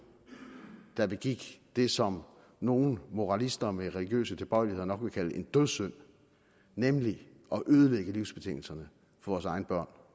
der begik det som nogle moralister med religiøse tilbøjeligheder nok vil kalde en dødssynd nemlig at ødelægge livsbetingelserne for vores egne børn